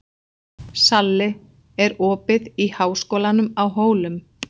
Salli, er opið í Háskólanum á Hólum?